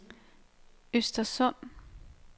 Östersund